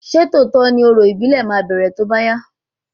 Ṣé lóòtọ́ ni orò ìbílẹ̀ máa bẹrẹ tóbá yá?